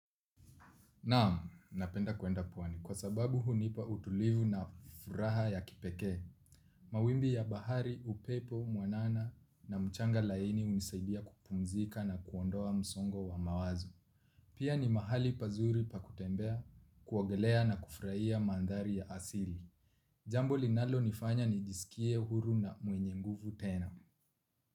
Naam, napenda kuenda pwani. Kwa sababu hunipa utulivu na furaha ya kipekee. Mawimbi ya bahari, upepo mwanana na mchanga laini hunisaidia kupumzika na kuondoa msongo wa mawazo. Pia ni mahali pazuri pakutembea, kuogelea na kufurahia mandhari ya asili. Jambo linalonifanya nijiskie huru na mwenye nguvu tena.